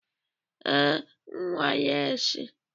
Ee, nwale si